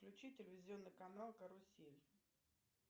включи телевизионный канал карусель